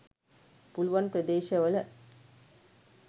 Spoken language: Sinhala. පුලුවන් ප්‍රදේශවල